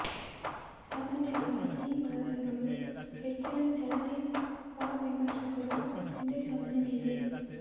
ಸಾಮಾನ್ಯವಾಗಿ ಈ ಮಾದರಿಗಳು ಹೆಚ್ಚಿನ ಚಲನೆ ಫಾರ್ ವಿಮರ್ಶಕರು ಒಂದೇಸಮನೆ ಮೇಲೆ